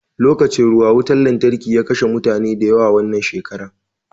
Lokacin ruwa wutan lantarki ya kashe mutane da yawa wannan shekara